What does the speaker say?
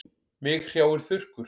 Mig hrjáir þurrkur.